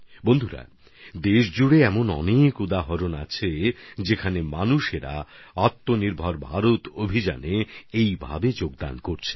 বন্ধুগণ দেশজুড়ে এধরনের অনেক উদাহরণ রয়েছে যেখানে মানুষ আত্মনির্ভর ভারত অভিযানে এরকম অবদান রাখছেন